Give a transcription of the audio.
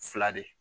Fila de